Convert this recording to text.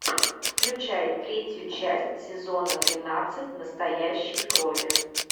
включай третью часть сезона тринадцать настоящей крови